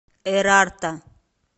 эрарта